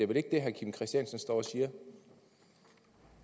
vel ikke det herre kim christiansen står